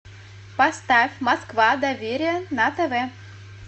поставь москва доверие на тв